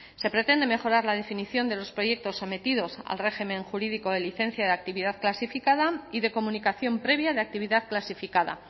se pretende mejorar la definición de los proyectos sometidos al régimen jurídico de licencia de actividad clasificada y de comunicación previa de actividad clasificada